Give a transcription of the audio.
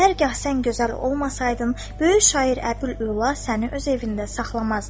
Hər gah sən gözəl olmasaydın, böyük şair Əbül Üla səni öz evində saxlamazdı.